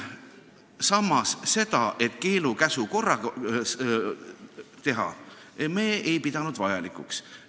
Samas, seda keelu ja käsu korras teha ei pidanud me vajalikuks.